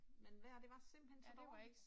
Men vejret det var simpelthen så dårligt